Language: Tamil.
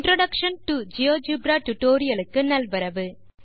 இன்ட்ரோடக்ஷன் டோ ஜியோஜெப்ரா டியூட்டோரியல் க்கு நல்வரவு